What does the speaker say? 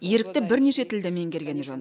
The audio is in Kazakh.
ерікті бірнеше тілді меңгергені жөн